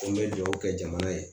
Ko n bɛ dugawu kɛ jamana ye